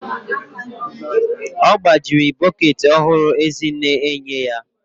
Ọ gbajiri bọket ọhụrụ Ezinne enye ya